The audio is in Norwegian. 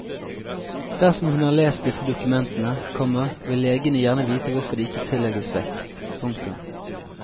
Dersom hun har lest disse dokumentene, komma vil legene gjerne vite hvorfor de ikke tillegges vekt. punktum